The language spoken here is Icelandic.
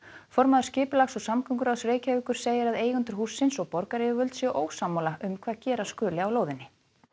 formaður skipulags og samgönguráðs Reykjavíkur segir að eigendur hússins og borgaryfirvöld séu ósammála um hvað gera skuli á lóðinni